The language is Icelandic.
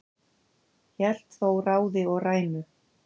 hélt þó ráði og rænu